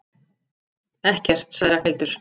Ekkert sagði Ragnhildur.